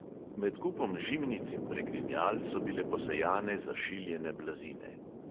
Med kupom žimnic in pregrinjal so bile posejane zašiljene blazine.